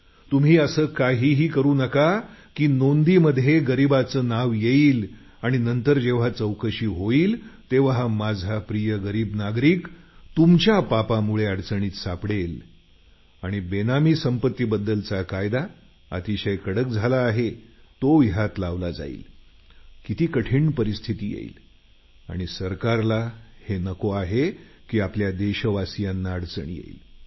तुम्ही असं काहीही करू नका की नोंदीत गरीबाचं नाव येईल आणि नंतर जेव्हा चौकशी होईल तेव्हा माझा प्रिय गरीब नागरिक तुमच्या पापामुळे अडचणीत सापडेल आणि बेनामी संपत्तीबदृदलचा कायदा अतिशय कडक झाला आहे तो यात गोवला जाईल किती कठीण परिस्थिती येईल आणि सरकारला हे नको आहे की आपले देशवासी अडचणीत येतील